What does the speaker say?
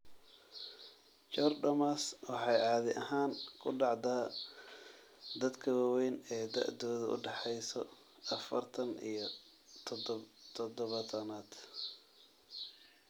Chordomas waxay caadi ahaan ku dhacdaa dadka waaweyn ee da'doodu u dhaxayso afaartan iyo todobataan.